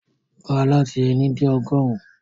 Ka lati éni de ọgọrun!